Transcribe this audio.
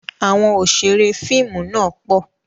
Àwọn Òṣeré fíìmù náà pọ̀